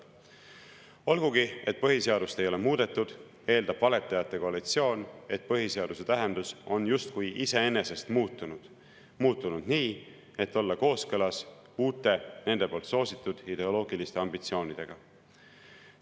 Olgugi et põhiseadust ei ole muudetud, eeldab valetajate koalitsioon, et põhiseaduse tähendus on justkui iseenesest muutunud, muutunud nii, et olla kooskõlas uute, nende poolt soositud ideoloogiliste ambitsioonidega.